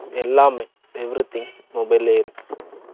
ஏன்னா, விவசாயம்ங்கறது வந்து, இப்போ ஒரு, கேள்விக்குறியா ஆயிருச்சு